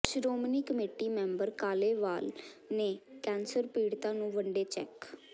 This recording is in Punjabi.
ਸ਼ੋ੍ਰਮਣੀ ਕਮੇਟੀ ਮੈਂਬਰ ਕਾਲੇਵਾਲ ਨੇ ਕੈਂਸਰ ਪੀੜਤਾਂ ਨੂੰ ਵੰਡੇ ਚੈੱਕ